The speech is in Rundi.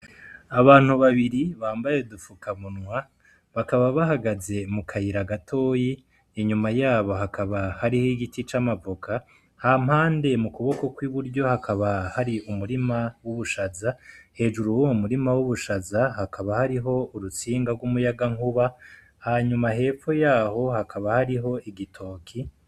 Abantu babiri bambaye dupfuka munwa bakaba bahagaze mu kayira gatoyi inyuma yabo hakaba hariho igiti c'amavuka ha mpande mu kuboko kw'i buryo hakaba hari umurima w'ubushaza hejuru wo mu murima w'ubushaza hakaba hariho urutsinga rw'umuyaga nkuba hanyuma hebu fo yaho hakaba hariho igitoki.